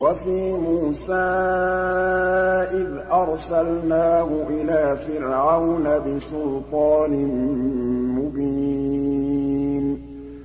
وَفِي مُوسَىٰ إِذْ أَرْسَلْنَاهُ إِلَىٰ فِرْعَوْنَ بِسُلْطَانٍ مُّبِينٍ